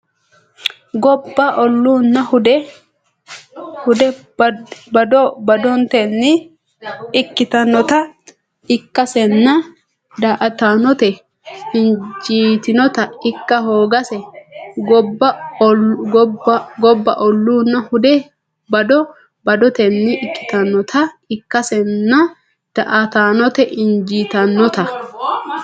Gobba olunna hude bado badotenni ikkitannota ikkasenna daa”ataanote injitinota ikka hoogase Gobba olunna hude bado badotenni ikkitannota ikkasenna daa”ataanote injitinota.